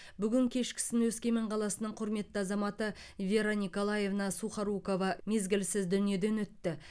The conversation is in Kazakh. бүгін кешкісін өскемен қаласының құрметті азаматы вера николаевна сухорукова мезгілсіз дүниеден өтті